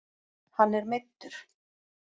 Hann er meiddur